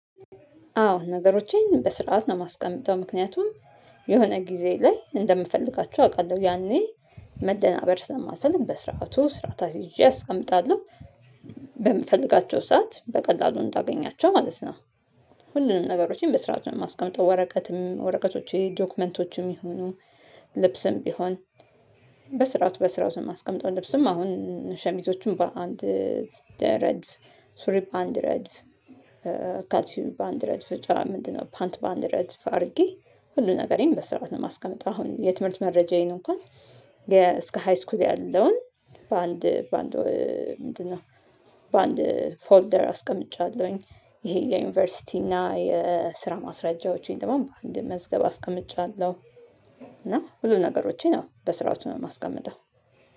አዎ ነገሮቼን በስርዓት ነው የማስቀምጠው ምክንያቱም የሆነ ጊዜ ላይ እንደምፈልጋቸው አውቃለሁ ያኔ መደናበር ስለማልፈልግ በስርዓቱ ስርዓት አስይዤ አስቀምጣለሁ በምፈልጋቸው ሰዓት በቀላሉ እንዳገኛቸው ማለት ነው። ሁሉንም ነገሮቼን በስርዓት ነው የማስቀምጠው ወረቀትም ወረቀቶችም ዶክመንቶችም ይሁኑ ልብስም ቢሆን በስርዓት በስርዓቱ ነው ማስቀምጠው ልብስም አሁን ሸሚዞቹ በአንድ ረድፍ ሱሪ በአንድ ረድፍ ካልሲም ባንድ ረድፍ ምንድነው ፓንት በአንድ ረድፍ አድርጌ ሁሉን ነገሬን በስርዓት ነው ማስቀመጠው። አሁን የትምህርት መረጃዬን እንኳን እስከ ሃይስኩል ያለውን በአንድ በአንድ ምንድነው በአንድ ፎልደር አስቀምጫለሁኝ። ይሄ የዩኒቨርሲቲ እና የስራ ማስረጃዎቼን ደግሞ በአንድ መዝገብ አስቀምጫለሁ። እና ሁሉ ነገሮቼ ነው በስርዓቱ የማስቀምጠው።